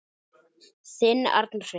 Þinn Arnar Freyr.